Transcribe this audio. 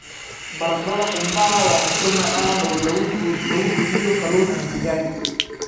Baradhada qumbaha waa cunto macaan oo lagu bixiyo kalluun ama digaag.